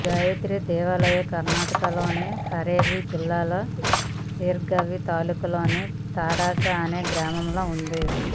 ఈ గాయత్రీ దేవాలయం కర్నాటకలోని హావేరి జిల్లా శిగ్గావి తాలూకాలోని తాడస అనే గ్రామంలో ఉంది